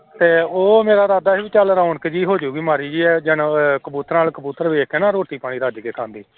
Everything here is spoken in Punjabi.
ਤੇ ਉਹ ਮੇਰਾ ਇਰਾਦਾ ਸੀ ਚੱਲ ਰੌਣਕ ਜਿਹੀ ਹੋ ਜਾਊਗੀ ਮਾੜੀ ਜਿਹੀ ਜਾਣਾ ਕਬੂਤਰਾਂ ਕਬੂਤਰ ਵੇਖ ਕੇ ਨਾ ਰੋਟੀ ਪਾਣੀ ਰੱਜ ਕੇ ਖਾਂਦੇ